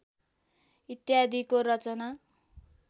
इत्यादिको रचना